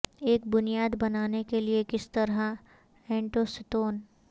ایک بنیاد بنانے کے لئے کس طرح اینٹوں ستون